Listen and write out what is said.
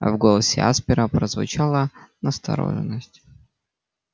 в голосе аспера прозвучала настороженность